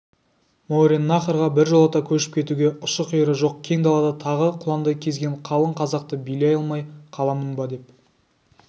мауреннахрға біржолата көшіп кетуге ұшы-қиыры жоқ кең далада тағы құландай кезген қалың қазақты билей алмай қаламын ба деп